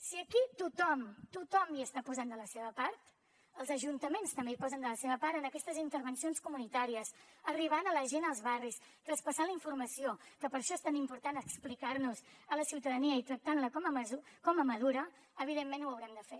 si aquí tothom tothom hi està posant de la seva part els ajuntaments també hi posen de la seva part en aquestes intervencions comunitàries arribant a la gent als barris traspassant la informació que per això és tan important explicar nos a la ciutadania i tractar la com a madura evidentment ho haurem de fer